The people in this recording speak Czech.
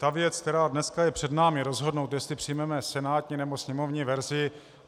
Ta věc, která je dnes před námi, rozhodnout, jestli přijmeme senátní, nebo sněmovní verzi.